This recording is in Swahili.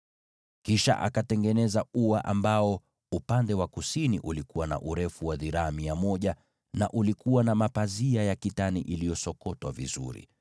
Kisha akatengeneza ua. Upande wa kusini ulikuwa na urefu wa dhiraa mia moja, na ulikuwa na mapazia ya kitani iliyosokotwa vizuri,